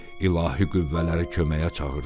İlahi qüvvələri köməyə çağırdı.